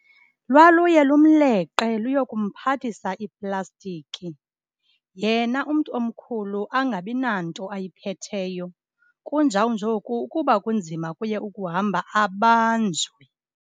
Lwaluye lumleqe luyokumphathisa iiplastiki, yena umntu omkhulu angabi nanto ayiphetheyo. Kunjawunjoku ukuba kunzima kuye ukuhamba abanjwe.